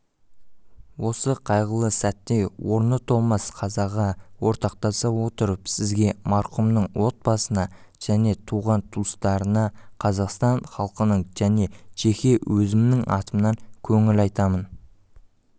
осы қайғылы сәтте орны толмас қазаға ортақтаса отырып сізге марқұмның отбасына және туған-туыстарына қазақстан халқының және жеке өзімнің атымнан көңіл айтамын